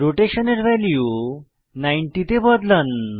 rotation এর value 90 তে বদলান